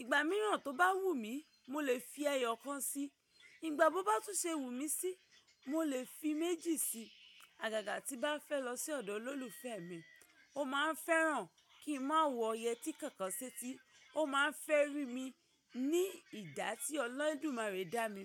Ìgbà mìíràn tó bá wù mí, mo lè fi ẹyọ kan sí. Ìgbà bó bá tún ṣe wù mí sí, mo lè fi méjì sí. Àgàgà tí bá fẹ́ lọ sí ọ̀dọ̀ olólùfẹ́ mi, ó máa ń fẹ́ràn kí n má wo yẹtí kankan sí etí. Ó máa ń fẹ́ rí mi ní ìdá tí ọlọ́dun máa rí dá mi.